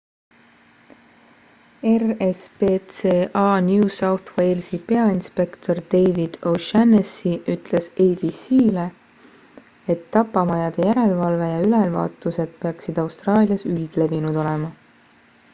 rspca new south walesi peainspektor david o'shannessy ütles abc-le et tapamajade järelevalve ja ülevaatused peaksid austraalias üldlevinud olema